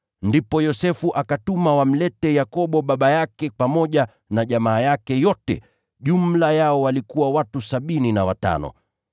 Ndipo Yosefu akawatuma kumleta Yakobo baba yake pamoja na jamaa yake yote, jumla yao walikuwa watu sabini na watano.